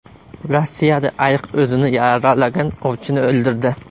Rossiyada ayiq o‘zini yaralagan ovchini o‘ldirdi.